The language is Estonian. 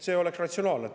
See oleks ratsionaalne.